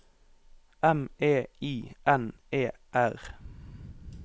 M E I N E R